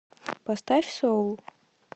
поставь соул